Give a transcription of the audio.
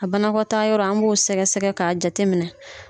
A banakɔtaa yɔrɔ an b'o sɛgɛ sɛgɛ ka jate minɛ.